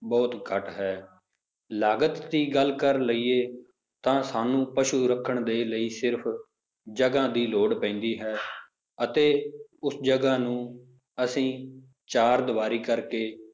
ਬਹੁਤ ਘੱਟ ਹੈ ਲਾਗਤ ਦੀ ਗੱਲ ਕਰ ਲਈਏ ਤਾਂ ਸਾਨੂੰ ਪਸੂ ਰੱਖਣ ਦੇ ਲਈ ਸਿਰਫ਼ ਜਗ੍ਹਾ ਦੀ ਲੋੜ ਪੈਂਦੀ ਹੈ ਅਤੇ ਉਸ ਜਗ੍ਹਾ ਨੂੰ ਅਸੀਂ ਚਾਰ ਦਵਾਰੀ ਕਰਕੇ